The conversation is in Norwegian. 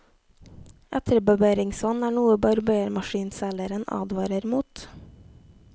Etterbarberingsvann er noe barbermaskinselgeren advarer mot.